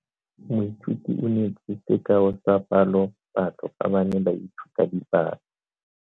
Moithuti o neetse sekao sa palophatlo fa ba ne ba ithuta dipalo.